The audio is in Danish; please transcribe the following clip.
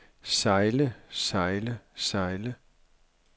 sejle sejle sejle